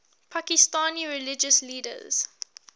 pakistani religious leaders